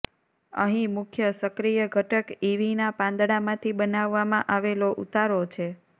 અહીં મુખ્ય સક્રિય ઘટક ઇવીના પાંદડામાંથી બનાવવામાં આવેલો ઉતારો છે